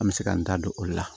An bɛ se k'an da don olu la